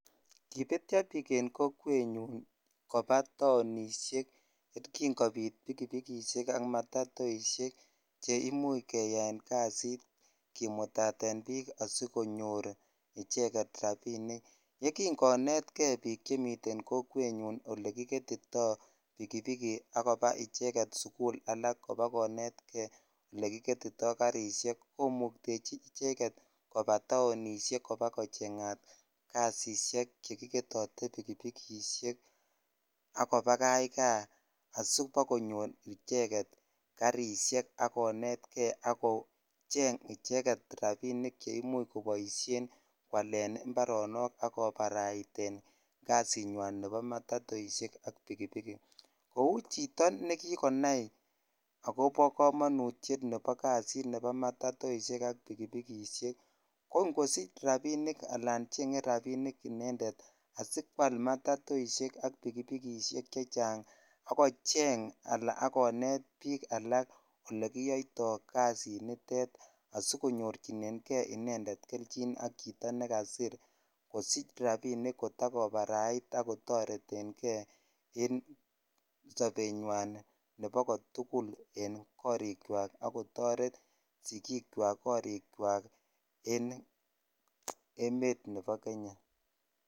Kipetyo bik en kokwet ngun joba taonishek kin kobit pikipikishej ak matatusiek che imuch keyaen kasit kimutaten bik asikonyor icheget rabinik ye kin konet bik chemiten kokwet alekigetitoipikipik ak koba icheget sukul all kobakonet kei olekiketotoi garishek komutechi ichek et koba tainishek kobakochengat kasishhek chkiketoto pikipikishek ak kobakach jaa asibakonyor icheget garishek kogetatat ak kochang icheget rabinik che imuch koboishen iparonok ak koparait jasinywan nebo matatoishek ak bikibik kou chito ne kikonai akobo komonutyet nebo kasit nebo matotoishek ak pikipikshek ko ingosich al changed inended rabinik asikwal matatoishek ak pikipikishej che chang ak kocheng ala akonet bik alak olekiyoitoi jasititet asikonyorchinen kei inended ak chito ne kasir kosich rabinik konarait ak kotoreten kei en sobenywan nebo kotugul en korichwak ak kotoret sikik chwak korik chwak en emet nebo Kenya.